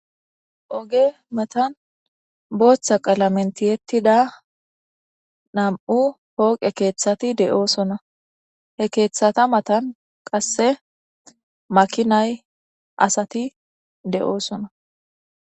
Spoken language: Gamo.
oge matan booththa qalamen tiyettida nam7u pooqe keeththati de7oosona he keeththata matan qasse makinay asati de7oosona